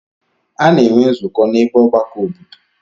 A na-enwe nzukọ n'ebe ọgbakọ obodo.